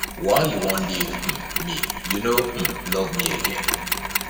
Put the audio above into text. why you wan leave um me you no um love me again